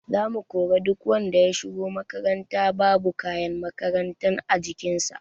Za mu kori duk wanda ya shigo makaranta babu kayan makaranta a jikin sa